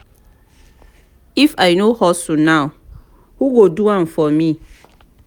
if i no hustle now who go do am for me?